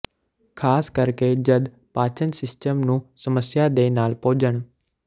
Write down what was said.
ਖ਼ਾਸ ਕਰਕੇ ਜਦ ਪਾਚਨ ਸਿਸਟਮ ਨੂੰ ਸਮੱਸਿਆ ਦੇ ਨਾਲ ਭੋਜਨ